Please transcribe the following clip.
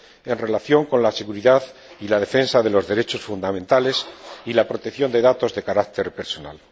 en relación con la seguridad y la defensa de los derechos fundamentales y la protección de datos de carácter personal.